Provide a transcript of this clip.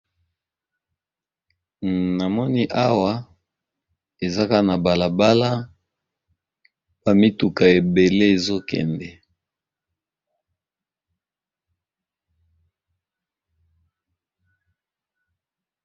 Na moni awa eza kaka na bala bala, ba mituka ebele ezo kende.